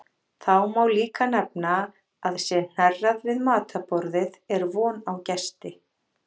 Þá má líka nefna að sé hnerrað við matarborðið er von á gesti.